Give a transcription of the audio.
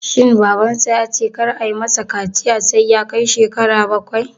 Shin Babansa ya ce kar ayi ma sa kaciya sai ya kai shekara bakwai?